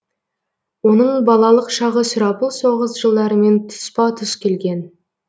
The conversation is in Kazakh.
оның балалық шағы сұрапыл соғыс жылдарымен тұспа тұс келген